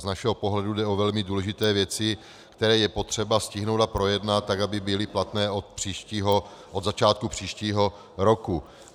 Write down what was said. Z našeho pohledu jde o velmi důležité věci, které je potřeba stihnout a projednat tak, aby byly platné od začátku příštího roku.